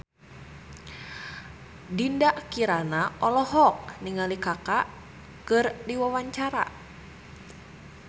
Dinda Kirana olohok ningali Kaka keur diwawancara